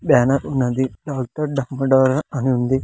Banner ఉన్నది doctor డర్ండోర్ అని ఉంది.